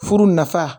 Furu nafa